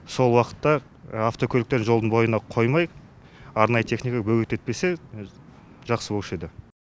сол уақытта автокөліктерді жолдың бойына қоймай арнайы техникаға бөгет етпесе жақсы болушы еді